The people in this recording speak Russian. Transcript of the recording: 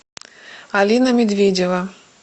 алина медведева